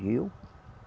Viu?